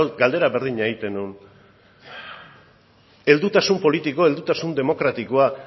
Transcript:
galdera berdina egiten nuen heldutasun politiko heldutasun demokratikoa